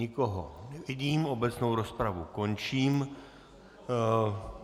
Nikoho nevidím, obecnou rozpravu končím.